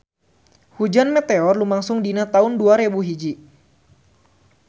Hujan meteor lumangsung dina taun dua rebu hiji